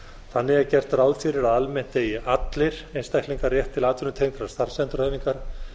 þannig er gert ráð fyrir að almennt eigi allir einstaklingar rétt til atvinnutengdrar starfsendurhæfingar